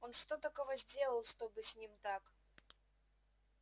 он что такого сделал чтобы с ним так